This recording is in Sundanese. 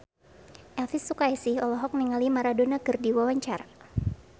Elvy Sukaesih olohok ningali Maradona keur diwawancara